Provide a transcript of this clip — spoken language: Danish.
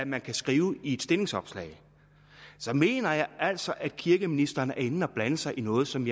man kan skrive i et stillingsopslag så mener jeg altså at kirkeministeren her er inde at blande sig i noget som